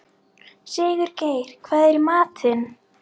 Sigurgeir, hvað er í matinn?